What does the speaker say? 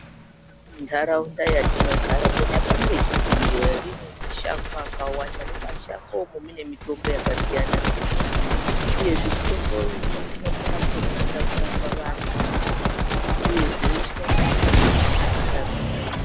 Ntaraunda yatinogara, kunyanya bani reChipinge, rine mashango akawanda. Mumashango umu mune mitombo yakasiyana siyana uyezve mitombo iyi inokona kutobatsira kutorapa vantu uyezve veshe vanokona kutozvishandisa zvakanaka.